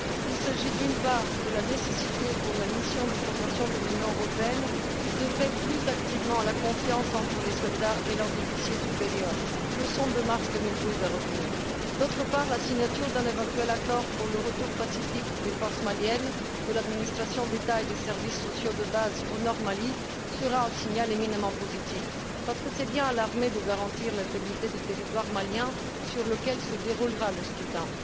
Il s'agit, d'une part, de la nécessité pour la mission de formation de l'Union européenne d'œuvrer plus activement à l'instauration de la confiance entre les soldats et leurs officiers supérieurs. Leçon de mars 2012 à retenir. D'autre part, la signature d'un éventuel accord pour le retour pacifique des forces maliennes de l'administration d'État et des services sociaux de base au Nord Mali sera un signal éminemment positif, parce que c'est bien à l'armée de garantir l'intégrité du territoire malien sur lequel se déroulera le scrutin.